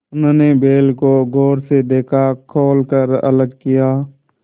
उन्होंने बैल को गौर से देखा खोल कर अलग किया